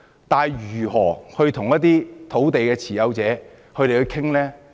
但是，如何與土地持有者商討呢？